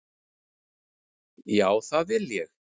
Já, það vil ég.